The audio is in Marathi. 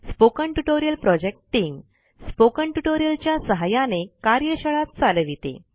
spoken tutorial project team spoken tutorial च्या सहाय्याने कार्यशाळा चालविते